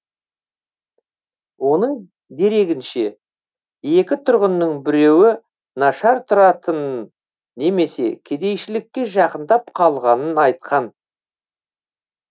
оның дерегінше екі тұрғынның біреуі нашар тұратынын немесе кедейшілікке жақындап қалғанын айтқан